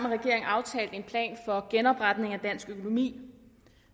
regeringen aftalt en plan for genopretning af dansk økonomi